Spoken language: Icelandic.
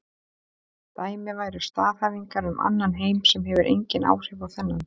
Dæmi væru staðhæfingar um annan heim sem hefur engin áhrif á þennan.